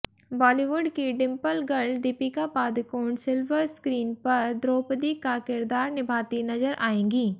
बॉलीवुड की dimple girl Deepika Padukone silver screen पर द्रौपदी का किरदार निभाती नजर आयेंगी